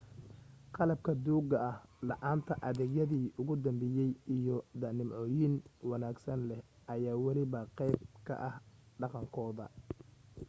qalabka duugga ah, la’aanta adeegyadi ugu dambeeyay, iyo da’nimcooyin wanaagsan leh ayaa waliba qayb ka ah dhaqankooda